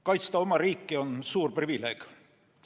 Kaitsta oma riiki on suur privileeg.